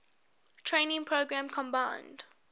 training program combined